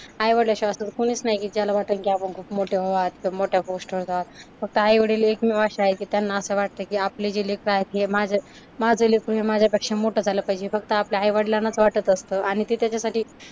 आई-वडलाशिवाय असं कुणीच नाही की ज्याला वाटंल की आपण खूप मोठे व्हावं मोठ्या पोस्ट वर जावं. फक्त आई-वडील एकमेव असे आहेत की त्यांना असं वाटतं की आपले जे लेकरं आहेत हे माझं, माझं लेकरू हे माझ्यापेक्षा मोठं झालं पाहिजे फक्त आपल्या आई-वडलांना असं वाटत असतं. आणि ते त्याच्यासाठी